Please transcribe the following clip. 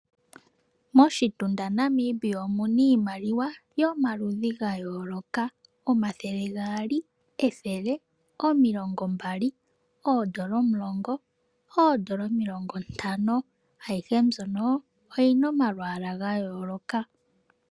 Moshitunda Namibia omuna iimaliwa yomaludhi gayoolok, 200, 100, 20, N$10,N$50. Ayihe mbyono oyina omalwaala gayooloka.